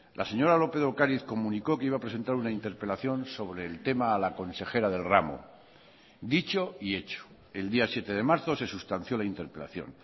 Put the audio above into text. la señora lópez de ocariz comunicó que iba a presentar una interpelación sobre el tema a la consejera del ramo dicho y hecho el día siete de marzo se sustanció la interpelación